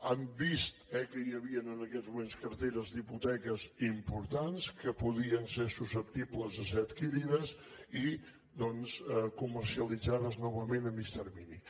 han vist que hi havien en aquests moments carteres d’hipoteques importants que podien ser susceptibles de ser adquirides i doncs comercialitzades novament a mitjà termini